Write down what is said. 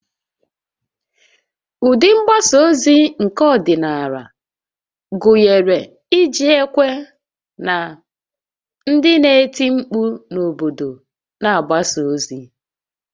Ụdị mgbasa ozi nke ọdịnala gụnyere iji ekwe na ndị na-eti mkpu n'obodo na-agbaso ozi